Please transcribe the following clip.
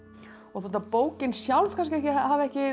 þótt bókin sjálf kannski hafi ekki